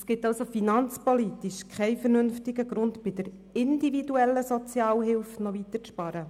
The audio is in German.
Es gibt finanzpolitisch keinen vernünftigen Grund, bei der individuellen Sozialhilfe noch weiter zu sparen.